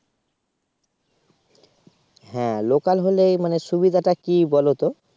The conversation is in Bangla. হ্যাঁ লোকাল হলে মানে সুবিধাটা কি বলোতো